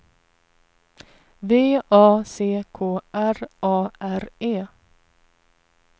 V A C K R A R E